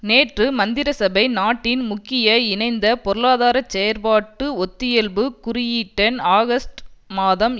நேற்று மந்திரிசபை நாட்டின் முக்கிய இணைந்த பொருளாதார செயற்பாட்டு ஒத்தியல்புக் குறியீட்டெண் ஆகஸ்ட் மாதம்